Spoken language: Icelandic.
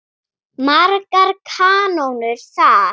Margar kanónur þar.